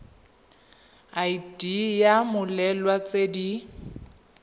id ya mmoelwa tse di